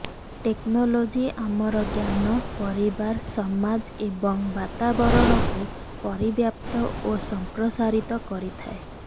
technology ଆମର ଜ୍ଞାନ ପରିବାର ସମାଜ ଏବଂ ବାତାବରଣକୁ ପରିବ୍ୟାପ୍ତ ଓ ସଂପ୍ରସାରିତ କରିଥାଏ